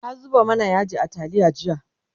ta zuba mana yaji a taliya jiya